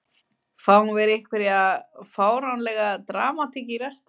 Fáum við einhverja fáránlega dramatík í restina??